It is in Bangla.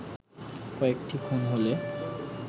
কয়েকটি খুন হলে